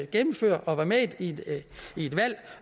gennemføre og være med i et valg